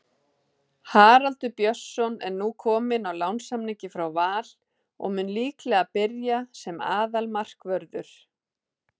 Haraldur Björnsson er nú kominn á lánssamningi frá Val og mun líklega byrja sem aðalmarkvörður.